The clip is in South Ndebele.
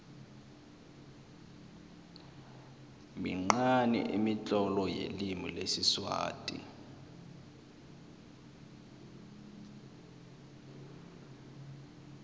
minqani imitlolo yelimi lesiswati